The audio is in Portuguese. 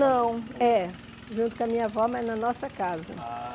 Não, é. Junto com a minha avó, mas na nossa casa. Ah